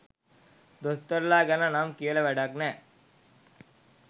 දොස්තරලා ගැන නම් කියල වැඩක් නෑ.